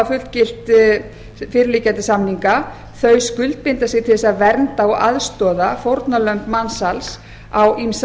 fullgilt fyrirliggjandi samninga þau skuldbinda sig til þess að vernda og aðstoða fórnarlömb mansals á ýmsa